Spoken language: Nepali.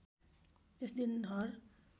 त्यस दिन हर